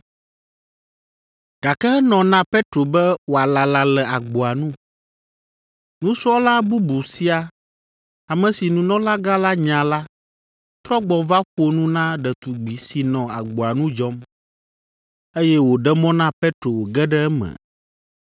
gake enɔ na Petro be wòalala le agboa nu. Nusrɔ̃la bubu sia, ame si nunɔlagã la nya la, trɔ gbɔ va ƒo nu na ɖetugbi si nɔ agboa nu dzɔm, eye wòɖe mɔ na Petro wòge ɖe eme.